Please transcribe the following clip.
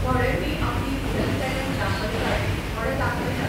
थोडे ती आपली हिडन टॅलंट दाखयतात, थोडे दाखयनात.